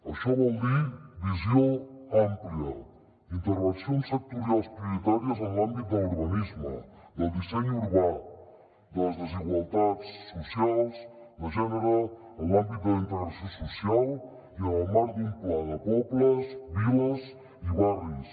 això vol dir visió àmplia intervencions sectorials prioritàries en l’àmbit de l’urbanisme del disseny urbà de les desigualtats socials de gènere en l’àmbit de la integració social i en el marc d’un pla de pobles viles i barris